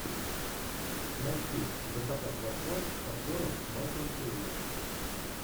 найти закатать в асфальт с актером майклом кейном